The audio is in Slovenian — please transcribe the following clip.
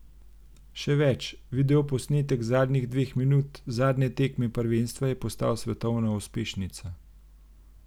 Še več, videoposnetek zadnjih dveh minut zadnje tekme prvenstva je postal svetovna uspešnica.